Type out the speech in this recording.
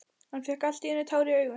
Hann fékk allt í einu tár í augun.